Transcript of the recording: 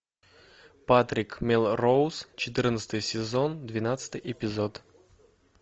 патрик мелроуз четырнадцатый сезон двенадцатый эпизод